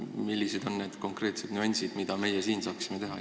Millised on need konkreetsed nüansid, mida meie siin teha saaksime?